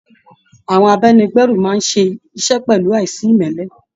Àwọn abáni gbé ẹrù máa n ṣe iṣẹ pẹlu aìsimẹ́lẹ́.